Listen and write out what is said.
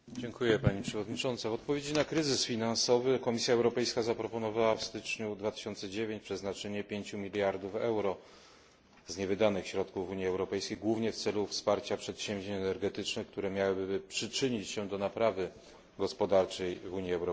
W odpowiedzi na kryzys finansowy Komisja Europejska zaproponowała w styczniu 2009 roku przeznaczyć 5 miliardów euro z niewydanych środków Unii Europejskiej głównie w celu wsparcia przedsięwzięć energetycznych, które przyczyniłyby się do poprawy gospodarczej w Unii Europejskiej.